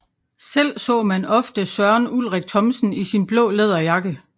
Selv så man ofte Søren Ulrik Thomsen i sin blå læderjakke